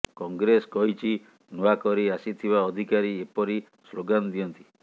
କଂଗ୍ରେସ କହିଛି ନୂଆ କରି ଆସିଥିବା ଅଧିକାରୀ ଏପରି ସ୍ଲୋଗାନ ଦିଅନ୍ତି